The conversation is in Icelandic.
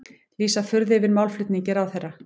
Lýsa furðu yfir málflutningi ráðherra